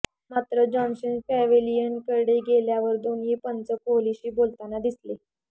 मात्र जॉन्सन पॅव्हेलियनकडे गेल्यावर दोन्ही पंच कोहलीशी बोलताना दिसले